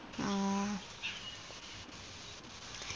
ആ